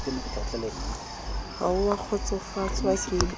ha o a kgotsofatswa ke